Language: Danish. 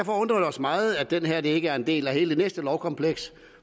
os meget at det her ikke er en del af hele det næste lovkompleks